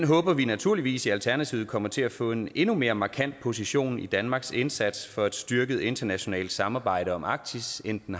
håber vi naturligvis i alternativet kommer til at få en endnu mere markant position i danmarks indsats for et styrket internationalt samarbejde om arktis end den